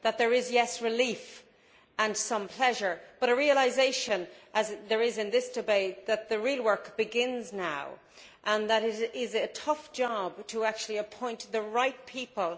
There is relief and some pleasure but a realisation, as there is in this debate, that the real work begins now and that it is a tough job to appoint the right people.